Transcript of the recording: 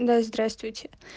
да здравствуйте